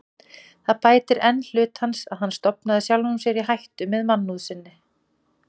Það bætir enn hlut hans, að hann stofnaði sjálfum sér í hættu með mannúð sinni.